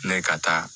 Ne ka taa